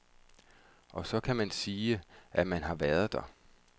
Og så kan man sige, at man har været der.